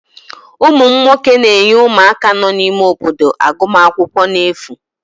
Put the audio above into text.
ụmụ m nwoke na-enye ụmụaka nọ n'ime obodo agụmakwụkwọ n'efu